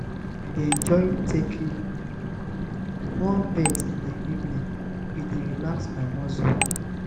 i dey enjoy taking warm bath in the evening; e dey relax my muscles.